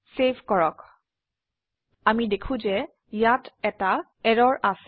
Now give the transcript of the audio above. save কৰক আমি দেখো যে ইয়াত এটা এৰৰ আছে